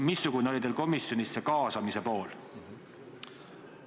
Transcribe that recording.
Missugune oli komisjonis see kaasamise pool?